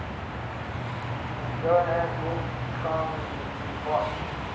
johann wolfgang von